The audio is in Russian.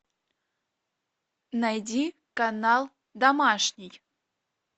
найди канал домашний